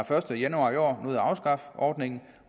første januar i år nåede at afskaffe ordningen